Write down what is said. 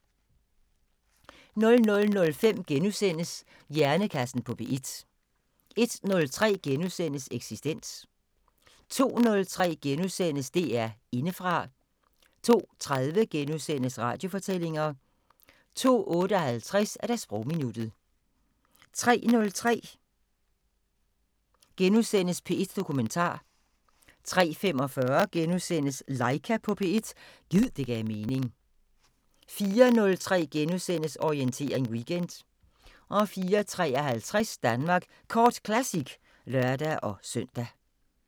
00:05: Hjernekassen på P1 * 01:03: Eksistens * 02:03: DR Indefra * 02:30: Radiofortællinger * 02:58: Sprogminuttet 03:03: P1 Dokumentar * 03:45: Laika på P1 – gid det gav mening * 04:03: Orientering Weekend * 04:53: Danmark Kort Classic (lør-søn)